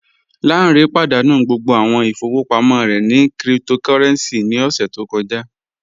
Lánré pádánú gbogbo awọn ìfọwọpamọ rẹ ni kírìtòkòrẹ̀ncì ní ọṣẹ̀ tó kọ̀jà